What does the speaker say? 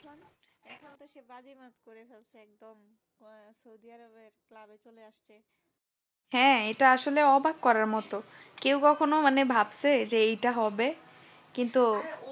হ্যাঁ এটা আসলে অবাক করার মতো কেউ কখনো মানে ভাবছে যে এটা হবে কিন্তু